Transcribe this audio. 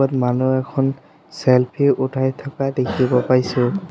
য'ত মানুহ এখন চেল্ফি উঠাই থকা দেখিব পাইছোঁ।